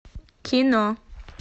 кино